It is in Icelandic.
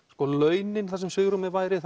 launin þar sem svigrúmið væri